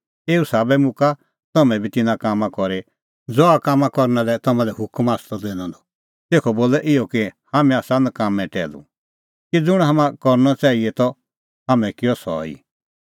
एऊ ई साबै मुक्का तम्हैं बी तिन्नां कामां करी ज़हा करना लै तम्हां लै हुकम आसा त दैनअ द तेखअ बोलै इहअ कि हाम्हैं आसा नकाम्मैं टैहलू कि ज़ुंण हाम्हां करनअ च़ाहिए त हाम्हैं किअ सह ई